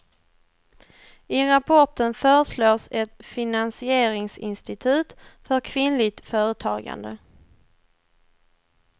I rapporten föreslås ett finansieringsinstitut för kvinnligt företagande.